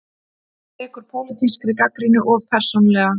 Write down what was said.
Tekur pólitískri gagnrýni of persónulega